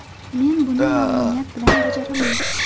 Men buni mamnuniyat bilan bajaraman.